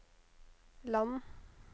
land